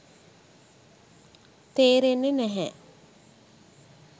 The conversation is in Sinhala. තේරෙන්නේ නැහැ.